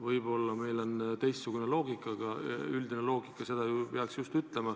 Võib-olla meil on teistsugune loogika, aga üldine loogika seda ju peaks ütlema.